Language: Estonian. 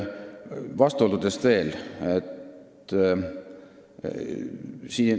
Vastuoludest veel.